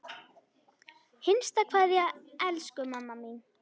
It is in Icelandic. HINSTA KVEÐJA Elsku mamma mín.